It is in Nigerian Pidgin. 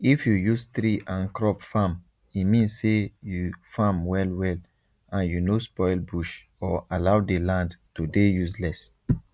if you use tree and crop farme mean say u farm well well and u no spoil bush or allow the land to dey useless